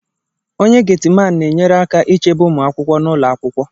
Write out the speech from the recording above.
Onye Getiman na-enyere aka ichebe ụmụ akwụkwọ nọ n'ụlọ akwụkwọ